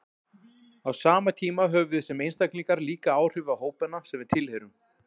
Á sama tíma höfum við sem einstaklingar líka áhrif á hópana sem við tilheyrum.